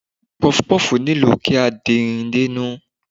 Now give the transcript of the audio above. Puff-puff nílò kí a din dénú.